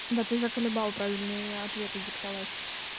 да ты закалебал правильные ответы диктовать